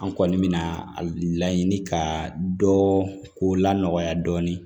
An kɔni mɛna a laɲini ka dɔ ko la nɔgɔya dɔɔnin